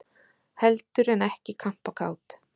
Heldur en ekki kampakát!